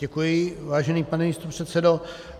Děkuji, vážený pane místopředsedo.